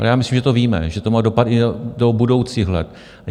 Ale já myslím, že to víme, že to má dopad i do budoucích let.